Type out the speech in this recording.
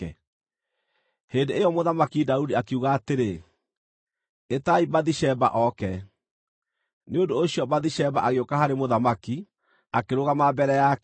Hĩndĩ ĩyo Mũthamaki Daudi akiuga atĩrĩ, “Ĩtai Bathisheba oke.” Nĩ ũndũ ũcio Bathisheba agĩũka harĩ mũthamaki, akĩrũgama mbere yake.